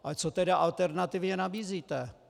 Ale co tedy alternativně nabízíte?